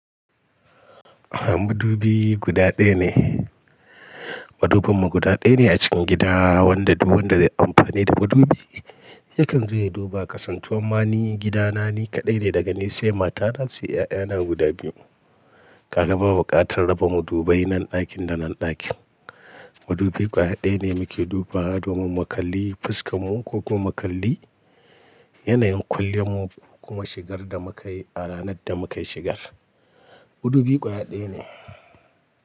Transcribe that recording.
Aha madubi guda ɗaya ne. Madubinmu guda ɗaya ne a cikin gida, wanda duk wanda zai amfani da madubi yakan zo ya duba. Kasantuwan ma ni gida na ni kaɗai ne daga ni, sai matana, sai 'ya'yana guda biyu. Kaga rba buƙatar raba madubai nan ɗakin da nan ɗakin. Madubi ƙwaya ɗaya ne muke duba wa domin mu kalli fuskar mu ko kuma mu kalli yanayin kwalliyan mu ko kuma shigar da muka yi a ranar da muka yi shigar. Madubi ƙwaya ɗaya ne.